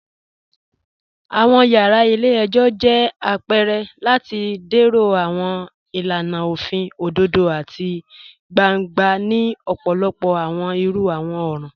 Awọn yara ilẹ̀-ẹ̀jọ jẹ̀ apẹ̀rẹ̀ lati dẹ̀rọ̀ awọn ilànà ofin odòdò àti gbàńgbà ni ọ̀pọ̀lọ̀pọ̀ awọn irú awọn ọran